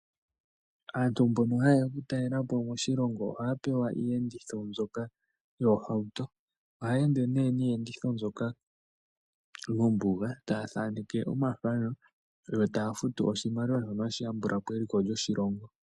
Aantu mbono hayeya oku talelapo moshilongo ohaya pewa iiyenditho mbyono yohawuto . Ohaya ende nduno niiyenditho mbwoka mombuga ta thaneke omathano yo taya futu oshimaliwa shoka hashi yambulapo eliko lyoshilongo